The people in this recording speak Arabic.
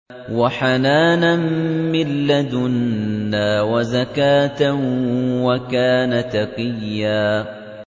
وَحَنَانًا مِّن لَّدُنَّا وَزَكَاةً ۖ وَكَانَ تَقِيًّا